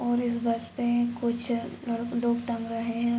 और इस बस पे कुछ ल लोग टँग रहे हैं।